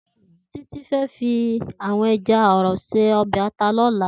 Titi fè fi èjà àrò sé òbè àtá lòlá